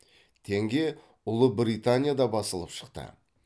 теңге ұлыбританияда басылып шықты